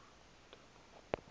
entabankulu